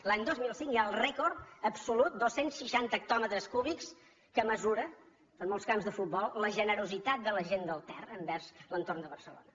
l’any dos mil cinc hi ha el rècord absolut dos cents i seixanta hectòmetres cúbics que mesura són molts camps de futbol la generositat de la gent del ter envers l’entorn de barcelona